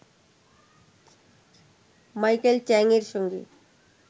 Michael চ্যাংয়ের সঙ্গে